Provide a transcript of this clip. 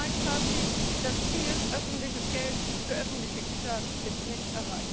Mein Fazit Das Ziel, öffentliches Geld für öffentliche Güter ist nicht erreicht!